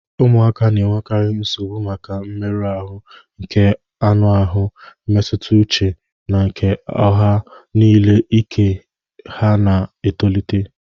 Ụmụaka na-enwekarị nsogbu maka mmerụ ahụ nke anụ ahụ, mmetụta uche na nke ọha n'ihi ike ha na-etolite..